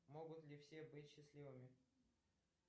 могут ли все быть счастливыми